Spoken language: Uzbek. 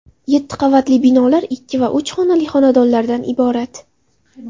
Yetti qavatli binolar ikki va uch xonali xonadonlardan iborat.